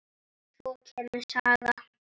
Og svo kemur saga